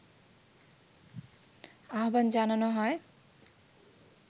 আহবান জানানো হয়